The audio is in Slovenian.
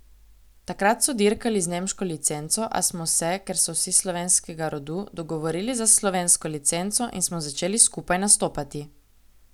Takrat so dirkali z nemško licenco, a smo se, ker so vsi slovenskega rodu, dogovorili za slovensko licenco in smo začeli skupaj nastopati.